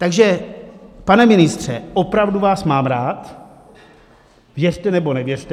Takže, pane ministře, opravdu vás mám rád, věřte nebo nevěřte.